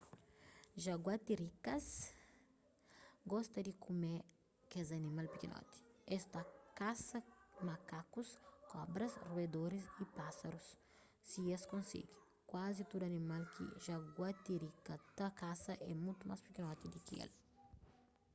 jaguatirikas gosta di kume kes animal pikinoti es ta kasa makakus kobras ruedoris y pásarus si es konsigi kuazi tudu animal ki jaguatirika ta kasa é mutu más pikinoti di ki el